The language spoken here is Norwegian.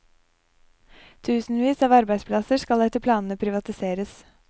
Tusenvis av arbeidsplasser skal etter planene privatiseres.